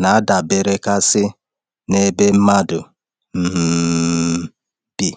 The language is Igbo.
na-adaberekarị n’ebe mmadụ um bi.